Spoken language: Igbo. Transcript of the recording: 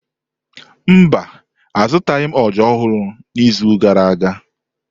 Mba, azụtaghị m ọjà ọhụrụ n'izu gara aga.